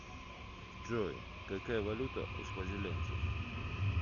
джой какая валюта у свазилендцев